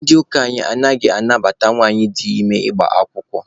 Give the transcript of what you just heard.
Ndị ụka anyị anaghị anabata nwanyị dị ime ịgba akwụkwọ.